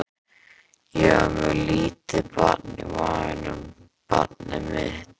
Ég var með lítið barn í maganum, barnið mitt.